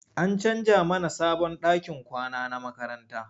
An canja mana sabon ɗakin kwana na makaranta.